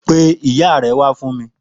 Pé ìyá rè wà fún mi